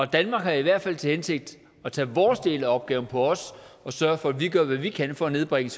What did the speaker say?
danmark har i hvert fald til hensigt at tage vores del af opgaven på os og sørge for at vi gør hvad vi kan for at nedbringe